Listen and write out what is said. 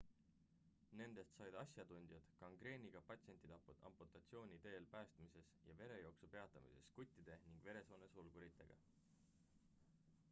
nendest said asjatundjad gangreeniga patsientide amputatsiooni teel päästmises ja verejooksu peatamises žguttide ning veresoone sulguritega